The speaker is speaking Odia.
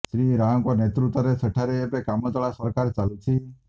ଶ୍ରୀ ରାଓଙ୍କ ନେତୃତ୍ବରେ ସେଠାରେ ଏବେ କାମଚଳା ସରକାର ଚାଲୁଛି